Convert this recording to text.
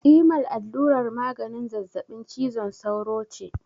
Imal allurar maganin zazzabin cizon sauro ce.